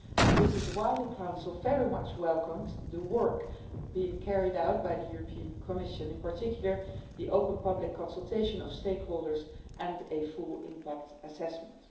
This is why the Council very much welcomes the work being carried out by the European Commission, in particular the open public consultation of stakeholders and a full impact assessment.